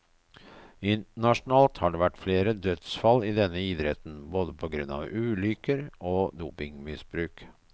Internasjonalt har det vært flere dødsfall i denne idretten, både på grunn av ulykker og dopingmisbruk.